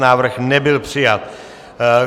Návrh nebyl přijat.